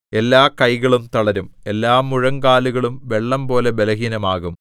എല്ലാകൈകളും തളരും എല്ലാമുഴങ്കാലുകളും വെള്ളംപോലെ ബലഹീനമാകും